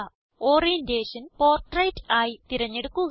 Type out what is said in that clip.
orientation portrait ആയി തിരഞ്ഞെടുക്കുക